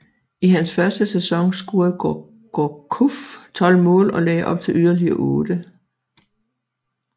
I hans første sæson scorede Gourcuff 12 mål og lagde op til yderligere 8